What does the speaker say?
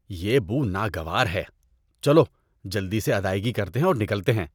یہ بو ناگوار ہے۔ چلو جلدی سے ادائیگی کرتے ہیں اور نکلتے ہیں۔